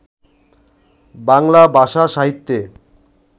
বাংলা ভাষা সাহিত্যে